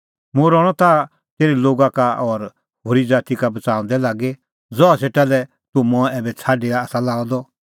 मुंह रहणअ ताह तेरै लोगा का और होरी ज़ाती का बच़ाऊंदै लागी ज़हा सेटा लै तूह मंऐं ऐबै छ़ाडी आसा लाअ द कि